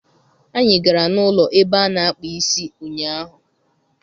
Anyị gara n'ụlọ ebe a na-akpa isi ụnyaahụ